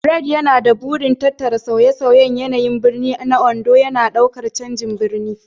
Bright yana da burin tattara sauye-sauyen yanayin birni na Ondo, yana ɗaukar canjin birnin.